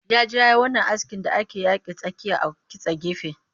Ya je yayi wannan askin da ake yake tsakiya a kitse gefe